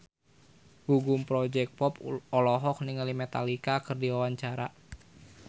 Gugum Project Pop olohok ningali Metallica keur diwawancara